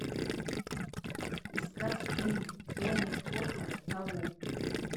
искать фильм тони скотта табу